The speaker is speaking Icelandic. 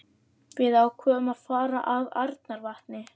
Við ákváðum því að fara að Arnarvatni.